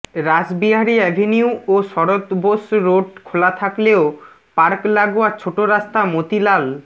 Rashbehari avenue ও Sarat Bose road খোলা থাকলেও পার্ক লাগোয়া ছোট রাস্তা মতিলাল